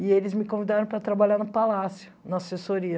E eles me convidaram para trabalhar no palácio, na assessoria.